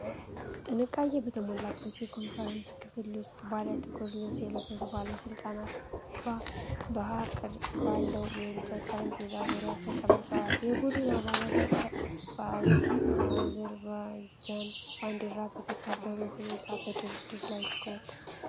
ጥንቃቄ በተሞላበት የኮንፈረንስ ክፍል ውስጥ፣ ባለ ጥቁር ልብስ የለበሱ ባለሥልጣናት በU ቅርጽ ባለው የእንጨት ጠረጴዛ ዙሪያ ተቀምጠዋል። የቡድን አባላት በአዘርባጃን ባንዲራዎች በተከበበ ሁኔታ በድርድር ላይ ትኩረት አድርገዋል።